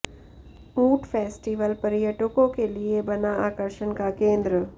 ऊंट फेस्टीवल पर्यटकों के लिए बना आकर्षण का केंद्र